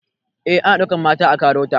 Eh ana ɗaukan mata a KAROTA